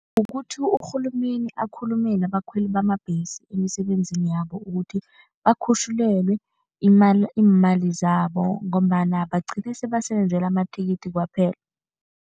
Kukuthi urhulumeni akhulumele abakhweli bamabhesi emisebenzini yabo ukuthi bakhutjhulelwe imali iimali zabo ngombana bagcine sebasebenzela amathikithi kwaphela.